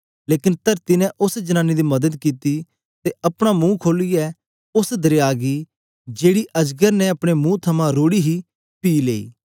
लेकन तरती ने उस्स जनानी दी मदद कित्ती ते अपना मुंह खोलियै उस्स दरया गी जेकी अजगर ने अपने मुंह थमां रोढ़ी हे पी लेई